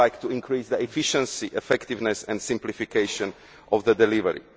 We would like to increase the efficiency, effectiveness and simplification of their delivery.